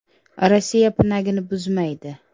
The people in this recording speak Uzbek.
Rossiya pinagini buzmaydi.